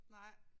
Nej